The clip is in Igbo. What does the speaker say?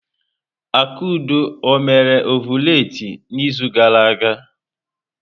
Akudo ọ mere ọvụletị n'izu gara aga?